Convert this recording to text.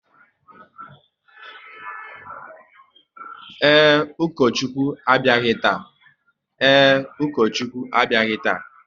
Ee, Ukochukwu abịaghị taa